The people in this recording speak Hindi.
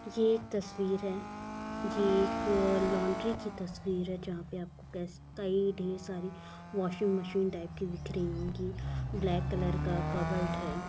ये एक तस्वीर है यह एक लॉन्ड्री की तस्वीर है जहाँ पे आप कई ढेर सारी वाशिंग मशीन टाइप की दिख रही होंगी ब्लैक कलर का कबर्ड है।